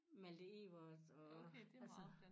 Malte Ebert og altså